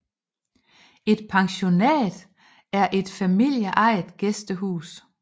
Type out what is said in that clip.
Et pensionat er et familieejet gæstehus